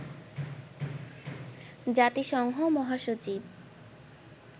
জাতিসংঘ মহাসচিব